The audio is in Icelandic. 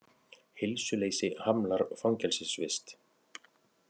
Heilsuleysi hamlar fangelsisvist